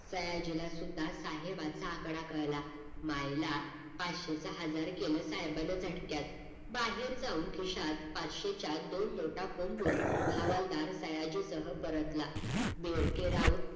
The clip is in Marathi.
सयाजीला सुद्धा साहेबाचा आकडा कळला मायला पाचशेच हजार केल साहेबान झटक्यात बाहेर जाऊन खिशात पाचशेच्या दोन नोटा कोंबून हवलदार सयाजी सह परतला बेडके राऊत